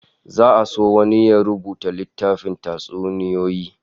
Za'a so wani ya rubuta littafin tatsuniyoyi